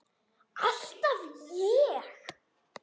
Alltaf ég.